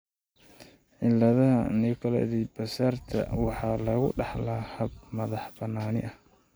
cilada Nicolaides Baraitser (NCBRS) waxaa lagu dhaxlaa hab madax-bannaani ah.